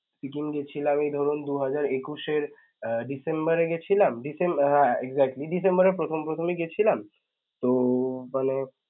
সিকিম গেছিলামই ধরুন দুই হাজার একুশ এর অ্য~ december এ গেছিলাম decem আহ exactly december এর প্রথম প্রথমই গেছিলাম তো~ হল